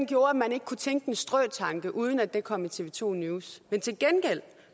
gjorde at man ikke kunne tænke en strøtanke uden at den kom i tv to news men til gengæld